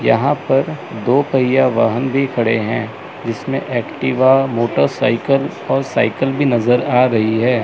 यहां पर दो पहिया वाहन भी खड़े हैं जिसमें एक्टिवा मोटरसाइकल और साइकल भी नजर आ रही है।